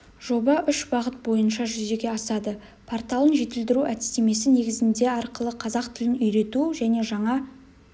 жоба үш бағыт бойнша жүзеге асады порталын жетілдіру әдістемесі негізінде арқылы қазақ тілін үйрету және жаңа